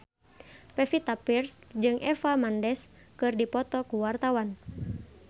Pevita Pearce jeung Eva Mendes keur dipoto ku wartawan